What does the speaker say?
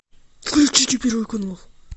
включите первый канал